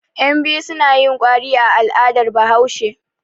Yanbiyu suna yin kwari a al'adar Bahaushe.